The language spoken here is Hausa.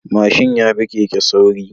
Mashin yafi Keke sauri